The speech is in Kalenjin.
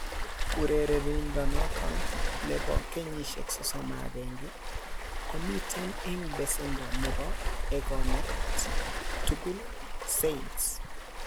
urerenindonoton bo kenyisiek 31 komiten en besendo nebo egonet tugul Saints.